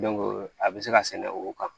a bɛ se ka sɛnɛ o kan